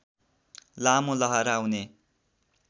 लामो लहरा हुने